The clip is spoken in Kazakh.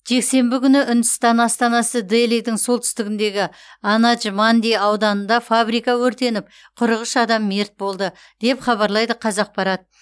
жексенбі күні үндістан астанасы делидің солтүстігіндегі анадж манди ауданында фабрика өртеніп қырық үш адам мерт болды деп хабарлайды қазақпарат